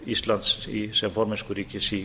virðulegur forseti ég er nýliði í